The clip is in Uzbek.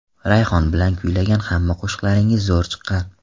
Rayhon bilan kuylagan hamma qo‘shiqlaringiz zo‘r chiqqan.